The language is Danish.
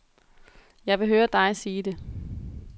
Jeg vil høre dig sige det.